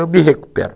Eu me recupero.